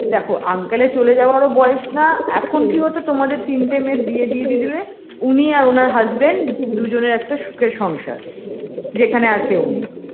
দেখো uncle -এর চলে যাওয়ার ও বয়স না এখন কি হতো তোমাদের তিনটে মেয়ের বিয়ে দিয়ে দিলে উনি আর ওনার husband দুজনের একটা সুখের সংসার যেখানে আর কেউ নেই